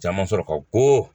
Caman sɔrɔ ka ko